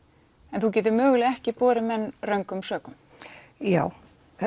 en þú getur mögulega ekki borið menn röngum sökum já